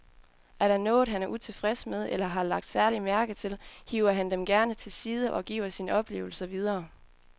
Er der noget, han er utilfreds med eller har lagt særlig mærke til, hiver han dem gerne til side og giver sine oplevelser videre.